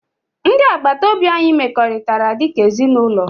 Ndị agbata obi anyị mekọrịtara dị ka ezinụlọ